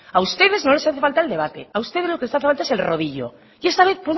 a ustedes no les hace falta el debate a ustedes lo que les hace falta es el rodillo y esta vez